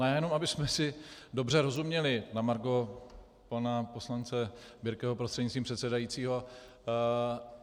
Jenom abychom si dobře rozuměli, na margo pana poslance Birkeho prostřednictvím předsedajícího.